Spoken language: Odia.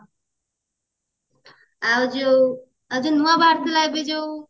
ଆଉ ଯୋଉ ନୂଆ ବାହାରିଥିଲା ଏବେ ଯୋଉ